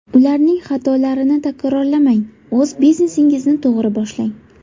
Ularning xatolarini takrorlamang, o‘z biznesingizni to‘g‘ri boshlang!